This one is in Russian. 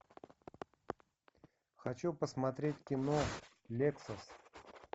хочу посмотреть кино лексус